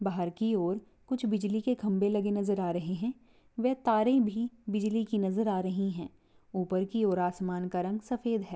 बाहर की और कुछ बिजली के खंबे लगे नज़र आ रहे है वह तारे भी बिजली की नज़र आ रही है ऊपर की और आसमान का रंग सफेद है।